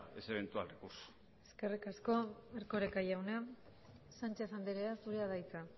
ese eventual recurso eskerrik asko erkoreka jauna sánchez andrea zurea da hitza